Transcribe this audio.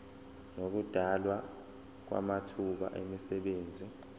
nokudalwa kwamathuba emisebenzi